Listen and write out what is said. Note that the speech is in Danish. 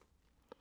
DR1